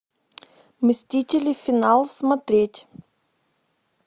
мстители финал смотреть